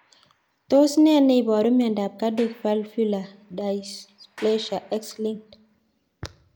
Tos nee neiparu miondop Cardiac valvular dysplasia, X linked?